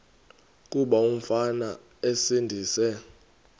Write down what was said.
kuba umfana esindise